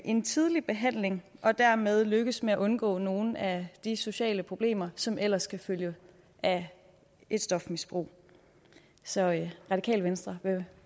en tidlig behandling og dermed lykkes med at undgå nogle af de sociale problemer som ellers kan følge af et stofmisbrug så radikale venstre vil